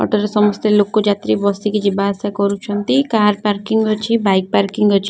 Auto ରେ ସମସ୍ତେ ଲୋକେ ଯାତ୍ରୀ ବସିକି ଯିବାଆସିବା କରୁଛନ୍ତି କାର ପାର୍କିଂ ଅଛି ବାଇକ ପାର୍କିଂ ଅଛି।